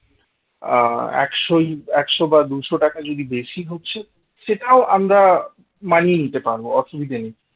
আহ একশই একশ বা দুইশ টাকা যদি বেশি হচ্ছে সেটাও আমরা মানিয়ে নিতে পারব অসুবিধা নেই